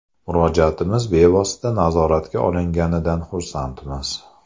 Murojaatimiz bevosita nazoratga olinganidan xursandmiz.